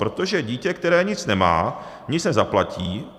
Protože dítě, které nic nemá, nic nezaplatí.